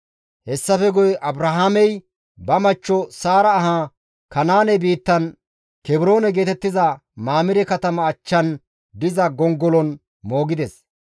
Hessafe guye Abrahaamey ba machcho Saara ahaa Kanaane biittan (Kebroone geetettiza) Mamire katama achchan diza gongolon moogides.